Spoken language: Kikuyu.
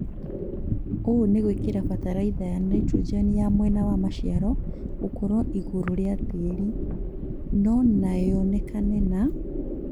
ũũ nĩ gwĩkĩra bataraitha ya naitrojeni ya mwena ya maciaro gũkorwo igũrũ rĩa tĩri. Nanoyonekane na